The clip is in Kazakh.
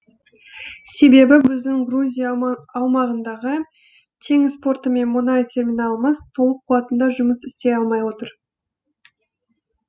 себебі біздің грузия аумағындағы теңіз порты мен мұнай терминалымыз толық қуатында жұмыс істей алмай отыр